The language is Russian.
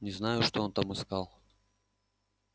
не знаю что он там искал